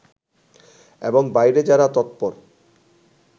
এবং বাইরে যারা তৎপর